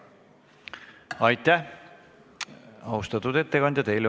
Aitäh, austatud ettekandja!